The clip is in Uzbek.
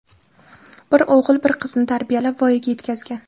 Bir o‘g‘il, bir qizni tarbiyalab, voyaga yetkazgan.